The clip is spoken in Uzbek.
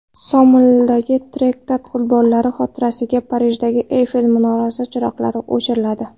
Somalidagi terakt qurbonlari xotirasiga Parijdagi Eyfel minorasi chiroqlari o‘chiriladi.